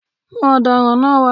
Mú ọ̀daràn náà wá.